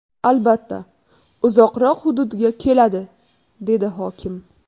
Albatta, uzoqroq hududga keladi”, dedi hokim.